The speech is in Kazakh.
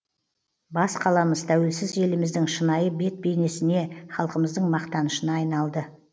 бас қаламыз тәуелсіз еліміздің шынайы бет бейнесіне халқымыздың мақтанышына айналды